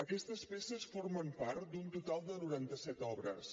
aquestes peces formen part d’un total de noranta set obres